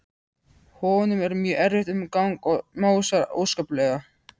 Honum er mjög erfitt um gang og másar óskaplega.